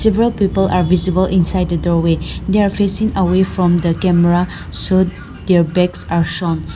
several people are visible inside the doorway they are facing away from the camera so their backs are shown.